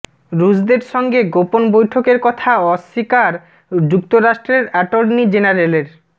রুশদের সঙ্গে গোপন বৈঠকের কথা অস্বীকার যুক্তরাষ্ট্রের অ্যাটর্নি জেনারেলের